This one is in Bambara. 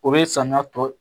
O be samiya tɔ